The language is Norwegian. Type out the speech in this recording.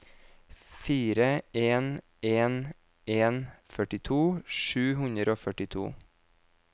fire en en en førtito sju hundre og førtito